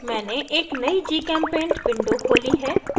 मैंने एक नयी gchempaint window खोली है